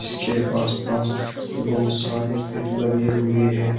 इसके आसपास बहुत सारे पेड़ लगे हुए हैं।